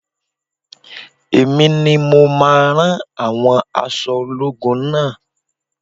Èmi ni mo máa rán àwọn aṣọ ológun naa